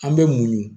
An bɛ munɲu